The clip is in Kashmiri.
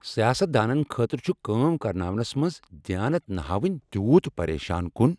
سیاست دانن خٲطرٕ چُھ كٲم كرناونس منز دیانت نہٕ ہاوٕنۍ تیوٗت پریشان کُن ۔